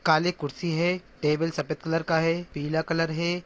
काली कुर्सी है टेबल सफ़ेद कलर का है पीला कलर है ।